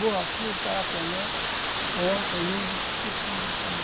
Borrachudo, carapanã, onça, índio, tudo tinha no meio do caminho.